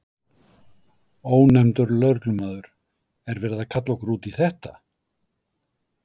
Ónefndur lögreglumaður: Er verið að kalla okkur út í þetta?